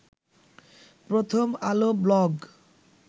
প্রথম আলো ব্লগ